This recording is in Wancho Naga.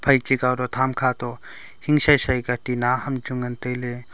phai che kow toh tham kha toh hing shin shin ka tina ham chu ngan tai ley.